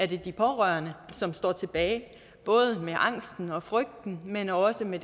de pårørende som står tilbage både med angsten og frygten men også med